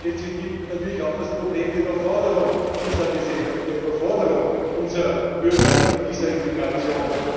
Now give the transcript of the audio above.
Dabei stellt sich natürlich auch das Problem der Überforderung unserer Gesellschaft, der Überforderung unserer Bürger mit dieser Immigration.